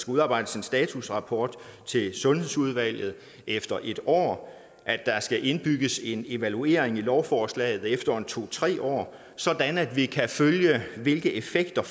udarbejdes en statusrapport til sundhedsudvalget efter et år at der skal indbygges en evaluering i lovforslaget efter to tre år sådan at vi kan følge hvilke effekter